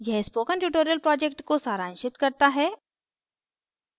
यह spoken tutorial project को सारांशित करता है